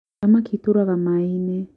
thamaki ĩturaga maainĩ